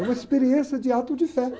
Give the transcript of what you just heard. É uma experiência de ato de fé